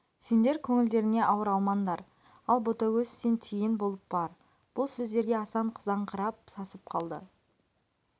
сендер көңілдеріңе ауыр алмаңдар ал ботагөз сен тиген болып бар бұл сөздерге асан қызарыңқырап сасып қалды